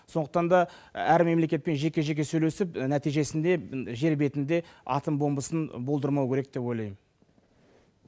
сондықтан да әр мемлекетпен жеке жеке сөйлесіп нәтижесінде жер бетінде атом бомбасын болдырмау керек деп ойлаймын